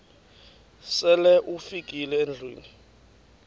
sele ufikile endlwini